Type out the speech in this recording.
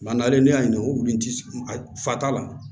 n'ale y'a ɲini wulu in ti fatula